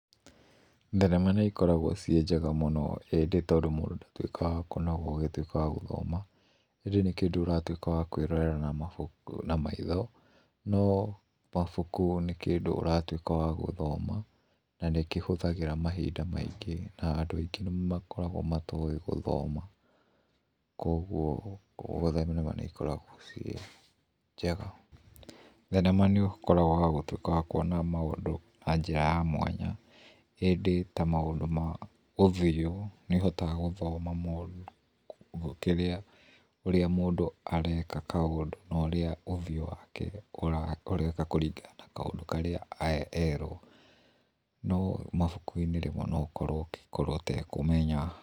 Thenema nĩ ikoragũo ciĩ njega mũno ĩndĩ tondũ mũndũ ndatuĩkaga wa kũnoga ũgĩtuĩka wa gũthoma ĩndĩ nĩ kĩndũ ũratuĩka wa kwĩrorera na mabuku na maitho, no mabuku nĩ kĩndũ ũratuĩka wa gũthoma na nĩ kĩhũthagĩra mahinda maingĩ na andũ aingĩ makoragũo matoĩ gũthoma kwoguo nĩ ikoragũo ciĩ njega. Thenema nĩ ũkoragũo wa gũtuĩka wa kũona maũndũ na njĩra ya mwanya ĩndĩ ta maũndũ ma ũthiũ nĩ ĩhotaga gũthoma mũndũ kĩrĩa ũrĩa mũndũ areka kaũndũ na ũrĩa ũthiũ wake ũreka kũringana na kaũndũ karĩa erũo no mabuku-inĩ rĩmwe no ũkorũo ũngĩkorũo ũtekũmenya.